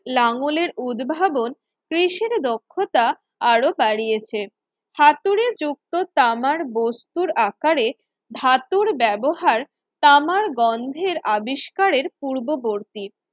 লাঙ্গলের উদ্ভাবন কৃষির দক্ষতা আরো বাড়িয়েছে হাতুড়ে যুক্ত তামার বস্তুর আকারে ধাতুর ব্যবহার তামার গন্ধের আবিষ্কারের পূর্ববর্তী